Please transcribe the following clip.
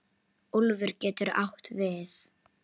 Úlfur getur átt við